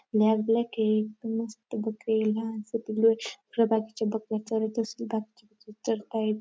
Black black ए मस्त पिलू बाकीचे बकर चरत अस दाखवले चरतायेत.